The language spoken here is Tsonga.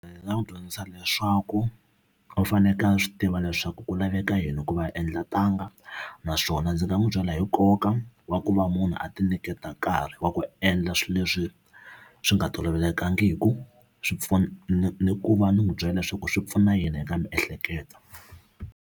Ndzi nga n'wi dyondzisa leswaku u fanekele a swi tiva leswaku ku laveka yini ku va a endla ntanga naswona ndzi nga n'wi byela hi nkoka wa ku va munhu a ti nyiketa nkarhi wa ku endla swilo leswi swi nga tolovelekangiki swi ni ku va ni n'wi byela leswaku swi pfuna yini eka miehleketo.